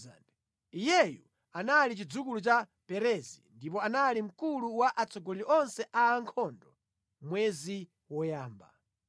Iyeyu anali chidzukulu cha Perezi ndipo anali mkulu wa atsogoleri onse a ankhondo mwezi woyamba.